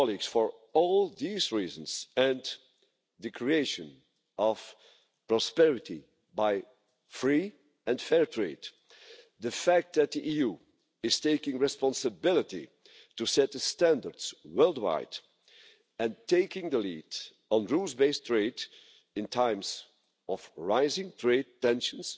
For all these reasons and the creation of prosperity by free and fair trade and the fact that the EU is taking responsibility to set the standards worldwide and taking the lead on rules-based trade in times of rising trade tensions,